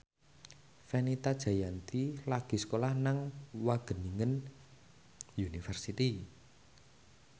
Fenita Jayanti lagi sekolah nang Wageningen University